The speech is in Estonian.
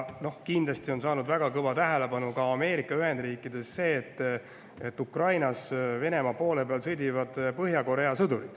Kindlasti on saanud väga kõva tähelepanu Ameerika Ühendriikides ka see, et Ukrainas sõdivad Venemaa poole peal Põhja-Korea sõdurid.